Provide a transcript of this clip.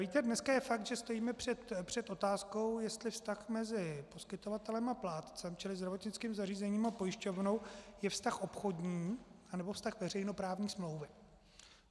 Víte, dnes je fakt, že stojíme před otázkou, jestli vztah mezi poskytovatelem a plátcem, čili zdravotnickým zařízením a pojišťovnou, je vztah obchodní, nebo vztah veřejnoprávní smlouvy.